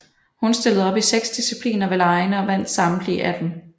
Hun stillede op i seks discipliner ved legene og vandt samtlige af dem